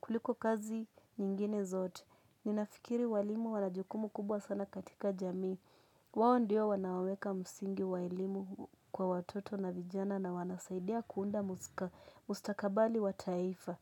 kuliko kazi nyingine zote. Ninafikiri walimu wana jukumu kubwa sana katika jamii. Wao ndio wanaoweka msingi wa elimu kwa watoto na vijana na wanasaidia kuunda mustakabali wa taifa.